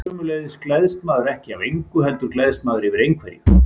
Sömuleiðis gleðst maður ekki af engu, heldur gleðst maður yfir einhverju.